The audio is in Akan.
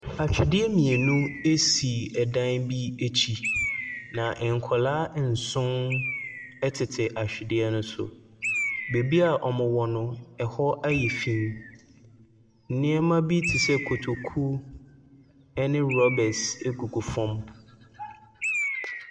Atwedeɛ mmienu bi si dan bi akyi. Na nkwaraa nson tete atwedeɛ no so. Baabi a wɔwɔ no, ɛhɔ ayɛ fi. Nneɛma bi te sɛ kotoku ne rubers gugu fam.